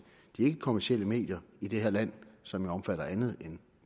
de ikkekommercielle medier i det her land som omfatter andet end